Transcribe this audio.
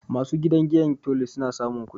Ma su gidan giyar Tolu, su na samun kudi